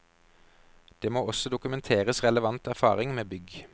Det må også dokumenteres relevant erfaring med bygg.